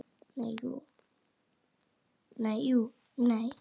Nei, jú, nei.